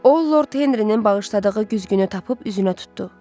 O Lord Henrinin bağışladığı güzgünü tapıb üzünə tutdu.